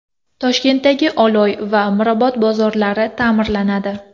Toshkentdagi Oloy va Mirobod bozorlari ta’mirlanadi.